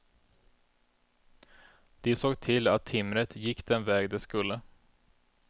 De såg till att timret gick den väg det skulle.